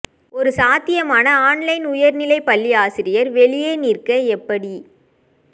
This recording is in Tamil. ஒரு சாத்தியமான ஆன்லைன் உயர்நிலை பள்ளி ஆசிரியர் வெளியே நிற்க எப்படி